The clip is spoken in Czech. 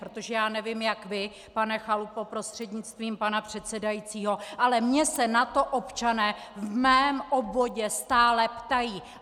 Protože já nevím jak vy, pane Chalupo prostřednictvím pana předsedajícího, ale mě se na to občané v mém obvodě stále ptají.